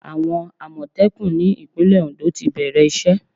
Àwọn Àmọ̀tẹ́kùn ní ìpínlẹ̀ Ondo ti bẹ̀rẹ̀ ìṣe.